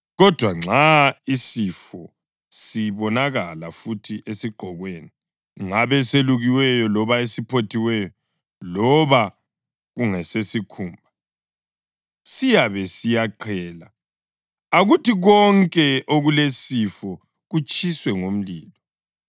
Kodwa nxa isifo sibonakala futhi esigqokweni, ingabe eselukiweyo loba esiphothiweyo, loba kungesesikhumba, siyabe siyaqhela, akuthi konke okulesifo kutshiswe ngomlilo.